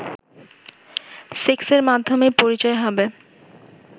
সেক্সের মাধ্যমেই পরিচয় হবে